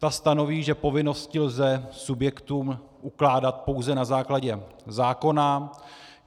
Ta stanoví, že povinnosti lze subjektům ukládat pouze na základě zákona.